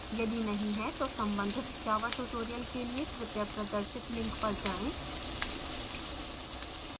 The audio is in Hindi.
यदि नहीं है तो संबंधित java tutorials के लिए कृपया प्रदर्शित link पर जाएँ